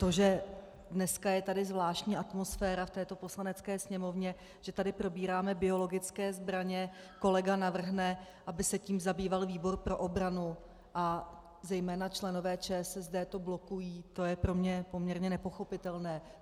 To, že dneska je tady zvláštní atmosféra v této Poslanecké sněmovně, že tady probíráme biologické zbraně, kolega navrhne, aby se tím zabýval výbor pro obranu, a zejména členové ČSSD to blokují, to je pro mě poměrně nepochopitelné.